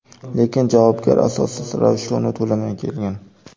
Lekin javobgar asossiz ravishda uni to‘lamay kelgan.